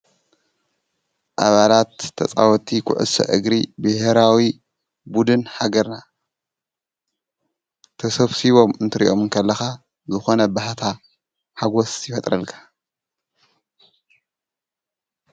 ኣባላት ተፃወት ኮዕሶ አግር ብሄራዊ ቡዱን ሃገረና ተሰብሲቦም እንትርኦሞ ከለካ ዝኮነ ባህታ ሓጎሰ ይፈጥረልካ::